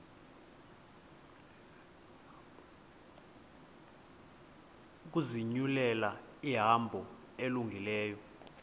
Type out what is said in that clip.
ukuzinyulela ihambo elungileyo